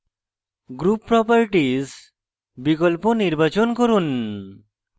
group properties বিকল্প নির্বাচন করুন